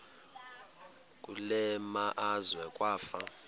kule meazwe kwafa